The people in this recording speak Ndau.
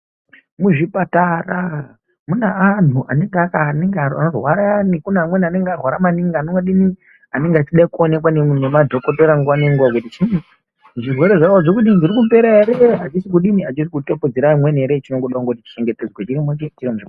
Muzvipatara mune anhu anorwara ayani kune amweni anenge arwara maningi anodini anenge achida kuonekwa nemadhokotera nguwa ngenguwa kuti chinyi kuti zvirwere zvavo zvirikupera ere, achisi kudini achisi kutapudzira amweni ere chinongoda kuti chichengetedzwe chiri muzvi.